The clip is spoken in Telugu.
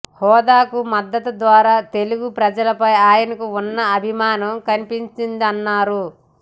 హోదాకు మద్దతు ద్వారా తెలుగు ప్రజలపై ఆయనకు ఉన్న అభిమానం కనిపించిందన్నారు